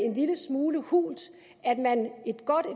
en lille smule hult